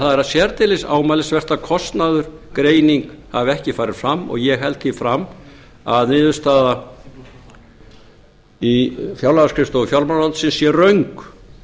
er sérdeilis ámælisvert að kostnaðargreining hafi ekki farið fram og ég held því fram að niðurstaða í fjárlagaskrifstofu fjármálaráðuneytisins sé röng